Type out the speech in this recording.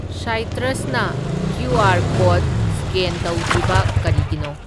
ꯁꯥꯢꯇ꯭ꯔꯁꯅ QR. Code scan ꯇꯧꯗ꯭ꯔꯤꯕ ꯀꯔꯤꯒꯤꯅꯣ?